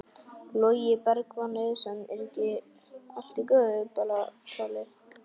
Logi Bergmann Eiðsson: Er ekki allt í góðu bara Palli?